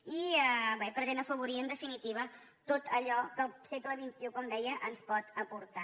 i bé pretén afavorir en definitiva tot allò que el segle xxi com deia ens pot aportar